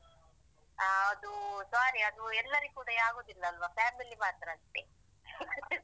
ಅಹ್ ಅದು sorry ಅದು ಎಲ್ಲರಿಗೂ ಕೂಡ ಆಗುದಿಲ್ಲ ಅಲ್ವಾ? family ಮಾತ್ರ ಅಷ್ಟೇ